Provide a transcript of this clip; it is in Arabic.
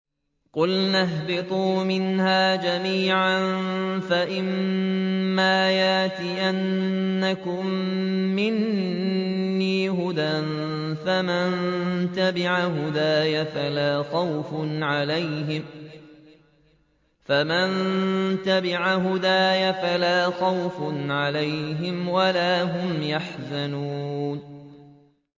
قُلْنَا اهْبِطُوا مِنْهَا جَمِيعًا ۖ فَإِمَّا يَأْتِيَنَّكُم مِّنِّي هُدًى فَمَن تَبِعَ هُدَايَ فَلَا خَوْفٌ عَلَيْهِمْ وَلَا هُمْ يَحْزَنُونَ